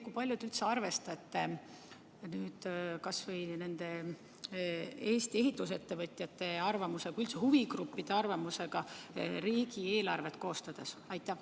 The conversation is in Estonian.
Kui palju te arvestate Eesti ehitusettevõtjate arvamusega või üldse huvigruppide arvamusega riigieelarvet koostades?